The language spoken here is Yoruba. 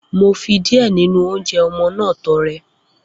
Mo fi díẹ̀ nínú oúnjẹ ọmọ náà tọrẹ.